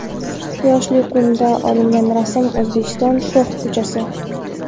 Quyoshli kunda olingan rasm O‘zbekiston shox ko‘chasi.